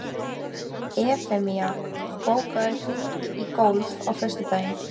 Evfemía, bókaðu hring í golf á föstudaginn.